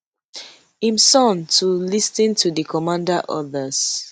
im son to lis ten to di commander orders